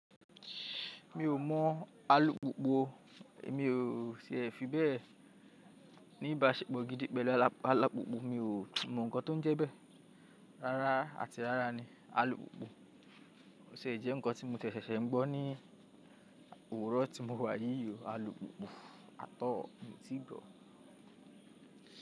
Mi ò mọ̀ alùpùpù mi ò ṣe ẹ fi bẹ́ẹ̀ níbaṣẹ̀pọ̀ gidi pẹ̀lú alùpùpù mi ò mọ̀ ǹkan tó ń jẹ bẹ́ẹ̀. Rárá àti rárá ni, alùpùpù ò ti e jẹ́ ǹkan tí mo sese ń gbọ́ ní òwúrọ̀ tí mo wà yíi alùpùpù àt all mi ti gbọ́.